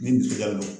Ni tɛgɛ don